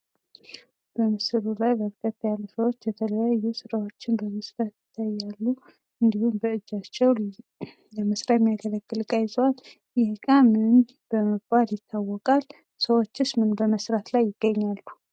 በምስሉ ላይ በረከት ያሉ ሰዎች የተለያዩ ስራዎችን በመስራት ላይ ይገኛሉ ። እንዲሁም በ እጃቸው ለመስሪያ የሚያገለግል እቃ ይዘዋል። ይህ እቃ ምን በመባል ይታወቃል? ሰዎቹስ ምን በመስራት ላይ ይገኛሉ?